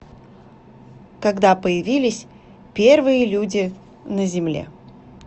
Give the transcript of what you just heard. когда появились первые люди на земле